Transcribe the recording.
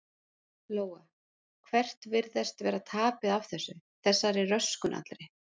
Lóa: Hvert virðist vera tapið af þessu, þessari röskun allri?